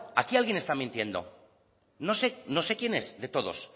aquí alguien está mintiendo no sé no sé quién es de todos